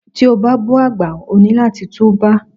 Tí o bá bú àgbà, o ní láti tú bá.